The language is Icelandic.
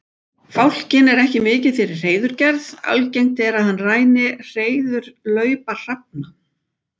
Fálkinn er ekki mikið fyrir hreiðurgerð, algengt er að hann ræni hreiðurlaupa hrafna.